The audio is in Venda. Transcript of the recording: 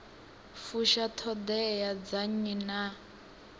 fusha ṱhoḓea dza nnyi na